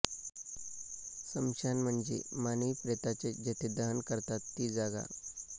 स्मशान म्हणजे मानवी प्रेतांचे जेथे दहन करतात ती जागा